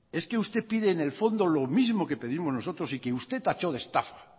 es que usted pide en el fondo lo mismo que pedimos nosotros y que usted tachó de estafa